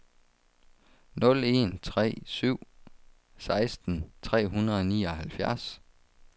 nul en tre syv seksten tre hundrede og nioghalvfjerds